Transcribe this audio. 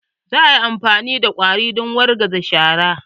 Za a yi amfani da ƙwari don wargaza shara.